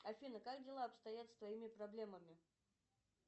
афина как дела обстоят с твоими проблемами